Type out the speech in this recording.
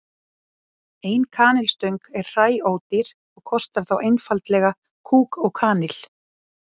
Ein kanilstöng er hræódýr og kostar þá einfaldlega kúk og kanil.